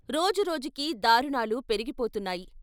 రోజురోజుకీ దారుణాలు పెరిగిపోతున్నాయి.